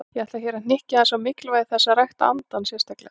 Ég ætla hér að hnykkja aðeins á mikilvægi þess að rækta andann sérstaklega.